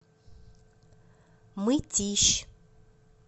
мытищ